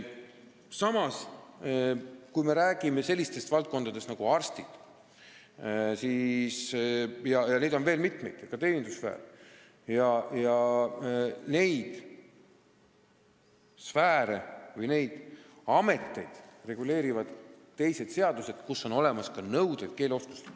Samas, kui me räägime sellistest elukutsetest nagu arstid – neid on veel mitmeid, siia hulka kuulub ka teenindussfäär –, siis neid ameteid reguleerivad teised seadused, kus on olemas ka keeleoskuse nõuded.